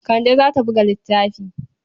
Kande za ta buga littafi.